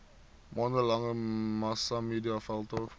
maande lange massamediaveldtog